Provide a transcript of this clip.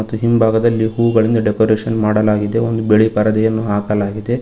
ಮತ್ತು ಹಿಂಭಾಗದಲ್ಲಿ ಹೂವುಗಳಿಂದ ಡೆಕೋರೇಷನ್ ಮಾಡಲಾಗಿದೆ ಒಂದು ಬಿಳಿ ಪರದೆಯನ್ನು ಹಾಕಲಾಗಿದೆ.